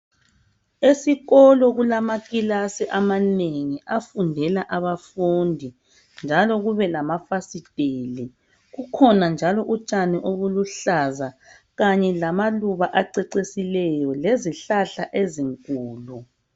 Esikolo kulamakilasi amanengi afundela abafundi njalo kube lamafasiteli. Kukhona njalo utshani obuluhlaza kanye lamaluba acecisileyo lezihlahla ezinkulu.